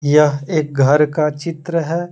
यह एक घर का चित्र है।